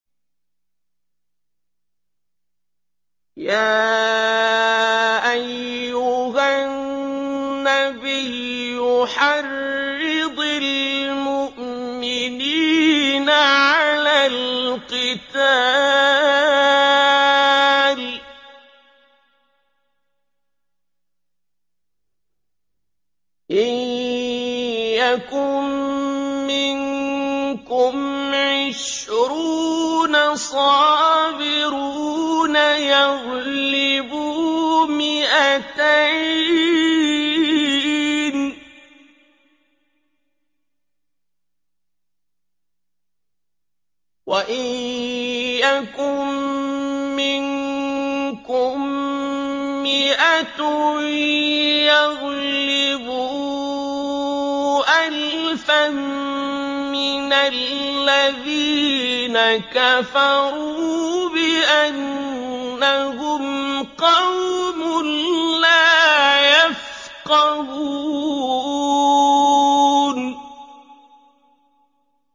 يَا أَيُّهَا النَّبِيُّ حَرِّضِ الْمُؤْمِنِينَ عَلَى الْقِتَالِ ۚ إِن يَكُن مِّنكُمْ عِشْرُونَ صَابِرُونَ يَغْلِبُوا مِائَتَيْنِ ۚ وَإِن يَكُن مِّنكُم مِّائَةٌ يَغْلِبُوا أَلْفًا مِّنَ الَّذِينَ كَفَرُوا بِأَنَّهُمْ قَوْمٌ لَّا يَفْقَهُونَ